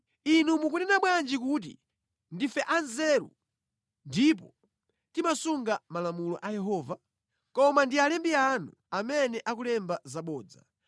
“ ‘Inu mukunena bwanji kuti, ‘Ndife anzeru ndipo timasunga malamulo a Yehova?’ Koma ndi alembi anu amene akulemba zabodza.